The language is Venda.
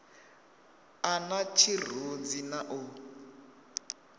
a na tshirunzi na u